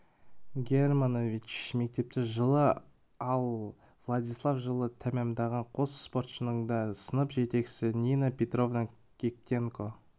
германович мектепті жылы ал владислав жылы тәмамдаған қос спортшының да сынып жетекшісі нина петровна киктенко